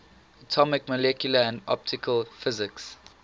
atomic molecular and optical physics